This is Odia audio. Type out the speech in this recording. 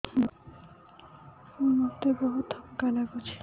ମୋତେ ବହୁତ୍ ଥକା ଲାଗୁଛି